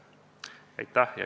Aitäh!